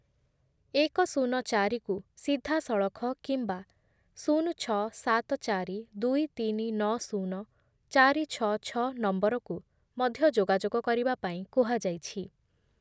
ଏକ ଶୂନକୁ ସିଧାସଳଖ କିମ୍ବା ଶୁନ ଛଅ ସାତ ଚାରି ଦୁଇ ତିନି ନଅ ଶୁନ ଚାରି ଛଅ ଛଅ ନମ୍ବରକୁ ମଧ୍ୟ ଯୋଗାଯୋଗ କରିବା ପାଇଁ କୁହାଯାଇଛି ।